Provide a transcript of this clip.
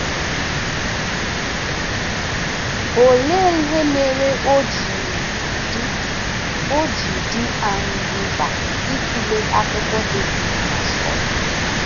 Olee ihe mere o ji dị o ji dị anyị mkpa ịtụle akụkọ Devid na Sọl?